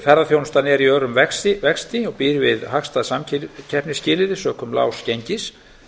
ferðaþjónustan er í örum vexti og býr við hagstæð samkeppnisskilyrði sökum lágs gengis